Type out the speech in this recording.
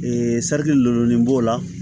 lenburunin b'o la